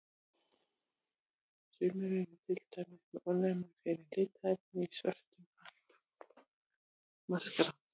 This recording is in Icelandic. Sumir eru til dæmis með ofnæmi fyrir litarefni í svörtum maskara.